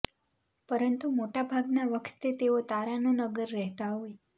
પરંતુ મોટા ભાગના વખતે તેઓ તારાનો નગર રહેતા હોય